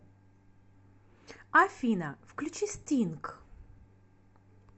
афина включи стинг